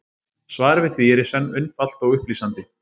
Svarið við því er í senn einfalt og upplýsandi.